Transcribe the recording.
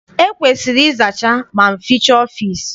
E kwesiri ịzacha ma fichaa ọfịịsi.